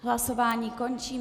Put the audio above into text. Hlasování končím.